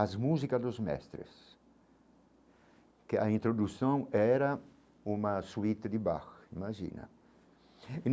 as músicas dos mestres, que a introdução era uma suíte de Bach, imagina e.